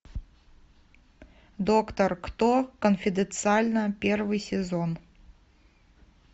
доктор кто конфиденциально первый сезон